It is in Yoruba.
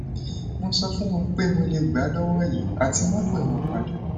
mo so fun won pe mo le gba lowo yi ati ma pe won pada